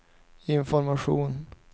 information